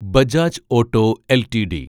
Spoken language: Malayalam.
Bajaj auto LTD